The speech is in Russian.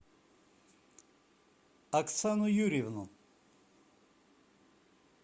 оксану юрьевну